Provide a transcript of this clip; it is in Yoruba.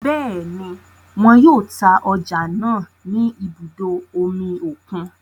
Bẹẹni, wọn yóò ta ọja náà ni ibùdó omí okùn